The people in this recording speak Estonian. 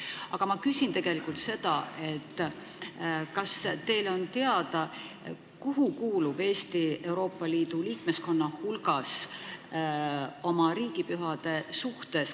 Aga ma küsin seda, kas teile on teada, kuhu kuulub Eesti Euroopa Liidu liikmeskonna hulgas riigipühade arvu mõttes.